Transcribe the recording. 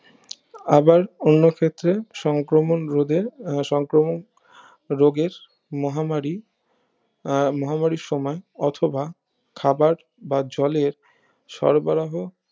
আবার অন্য ক্ষেত্রে সংক্রমণ রোধের আহ সংক্রমক রোগের মহামারী আহ মহামারীর সময় অথবা খাবার বা জলের সরবরাহ